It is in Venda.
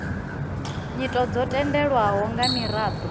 nyito dzo tendelwaho nga miraḓo